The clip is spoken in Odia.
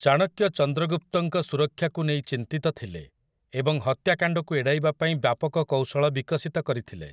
ଚାଣକ୍ୟ ଚନ୍ଦ୍ରଗୁପ୍ତଙ୍କ ସୁରକ୍ଷାକୁ ନେଇ ଚିନ୍ତିତ ଥିଲେ ଏବଂ ହତ୍ୟାକାଣ୍ଡକୁ ଏଡ଼ାଇବା ପାଇଁ ବ୍ୟାପକ କୌଶଳ ବିକଶିତ କରିଥିଲେ ।